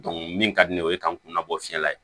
min ka di ne ye o ye k'an kunna bɔ fiɲɛ la ye